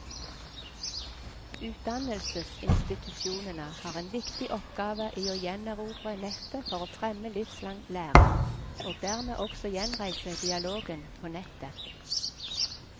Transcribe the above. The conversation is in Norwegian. Utdannelsesinstitusjonene har en viktig oppgave i å gjenerobre nettet for å fremme livslang læring, og dermed også gjenreise dialogen på nettet.